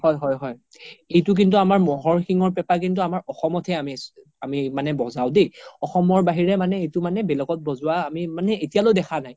হয় হয় এইটো কিন্তু আমাৰ ম্'হৰ শিঙৰ পেপা লিন্তু আমাৰ অসম হে আমি বজাও দেই অসমৰ বাহিৰে মানে এইটো মানে বেলেগত বজোৱা মানে আমি এতিয়া লৈ দেখা নাই